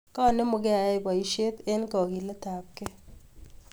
Kanemugei ayai boishet eng' kakilet ab gei